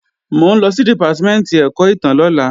Mò ń lọ sí Dìpátímẹ̀ntì ẹ̀kọ́ ìtàn lọ́la